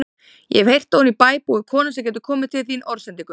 Ég hef heyrt að oní bæ búi kona sem getur komið til þín orðsendingu.